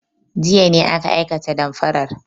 Jiya ne aka aikata damfarar.